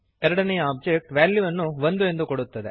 ಎರಡನೆಯ ಒಬ್ಜೆಕ್ಟ್ ವ್ಯಾಲ್ಯುವನ್ನು 1 ಎಂದು ಕೊಡುತ್ತದೆ